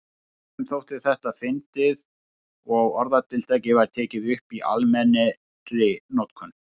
Öðrum þótti þetta fyndið og orðatiltækið var tekið upp í almennri notkun.